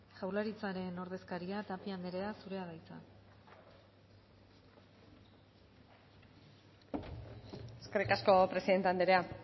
jaurlaritzaren ordezkaria tapia anderea zurea da hitza eskerrik asko presidente andrea